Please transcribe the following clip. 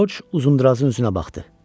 George Uzundrazın üzünə baxdı.